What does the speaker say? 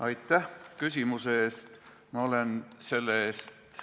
Aitäh küsimuse eest!